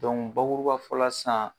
bakuruba fɔla san